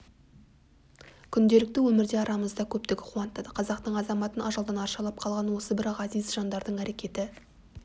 күнделікті өмірде арамызда көптігі қуантады қазақтың азаматын ажалдан арашалап қалған осы бір ғазиз жандардың әрекеті